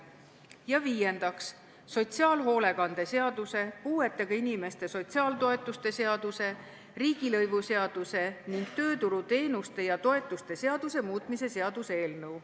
Ja viiendaks, sotsiaalhoolekande seaduse, puuetega inimeste sotsiaaltoetuste seaduse, riigilõivuseaduse ning tööturuteenuste ja -toetuste seaduse muutmise seaduse eelnõu.